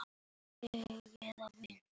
Sjá töflu.